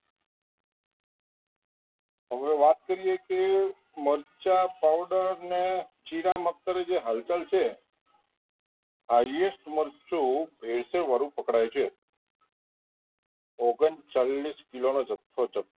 હવે વાત કરીએ કે મરચા powder કે જીરા મગદરી જે હળદર છે highest મરચું ભેરસેળ વારુ પકડાય છે ઓગન ચાલીસ કિલો નો જથ્થો